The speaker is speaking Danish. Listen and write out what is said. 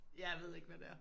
Ja jeg ved ikke hvad det er